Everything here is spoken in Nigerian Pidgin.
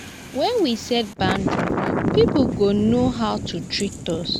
when we set boundaries pipo go know how to treat us